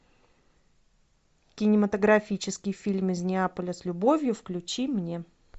кинематографический фильм из неаполя с любовью включи мне